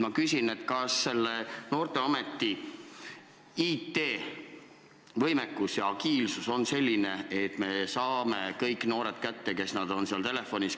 Ma küsin, kas noorteameti IT-võimekus ja agiilsus on selline, et me saame kätte kõik noored, kes seal telefonis on.